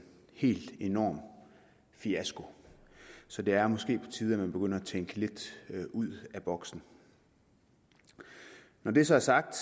helt enorm fiasko så det er måske på tide at man begynder at tænke lidt ud af boksen når det så er sagt